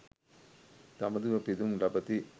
දඹදිව පිදුම් ලබති.